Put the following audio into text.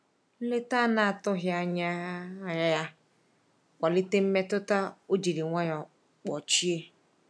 Nleta anatughi anya um ya kwalite mmetụta o jiri nwayo kpochie.